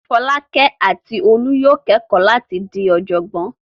Fọ́lákẹ́ àti Olú yóò kẹ́kọ̀ọ́ láti di ọ̀jọ̀gbọ́n.